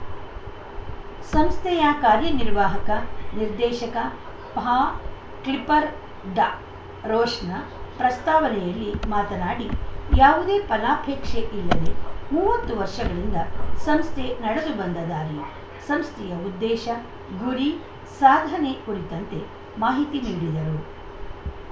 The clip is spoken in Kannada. ಸಂಸ್ಥೆಯ ಕಾರ್ಯನಿರ್ವಾಹಕ ನಿರ್ದೇಶಕ ಪಾ ಕ್ಲಿಪ್ಪರ್ ದ ರೋಶನ ಪ್ರಾಸ್ತಾವಳೆಯಲ್ಲಿ ಮಾತನಾಡಿ ಯಾವುದೇ ಫಲಾಪೇಕ್ಷೆ ಇಲ್ಲದೆ ಮೂವತ್ತು ವರ್ಷಗಳಿಂದ ಸಂಸ್ಥೆ ನಡೆದುಬಂದ ದಾರಿ ಸಂಸ್ಥೆಯ ಉದ್ದೇಶ ಗುರಿ ಸಾಧನೆ ಕುರಿತಂತೆ ಮಾಹಿತಿ ನೀಡಿದರು